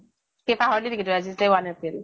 কি পাহৰিলি নেকি তই আজি যে one april?